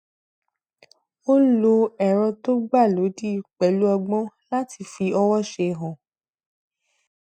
ó lo ẹrọ tó gbà lódìé pẹlú ọgbọn láti fi ọwọṣe hàn